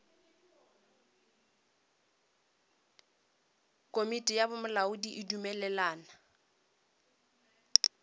komiti ya bolamodi e dumelelana